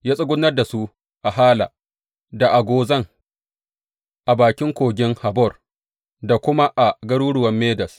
Ya tsugunar da su a Hala, da a Gozan a bakin Kogin Habor da kuma a garuruwan Medes.